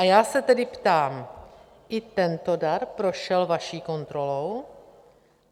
A já se tedy ptám: I tento dar prošel vaší kontrolou?